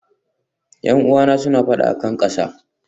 Yan'uwan suna fada a kan ƙasa.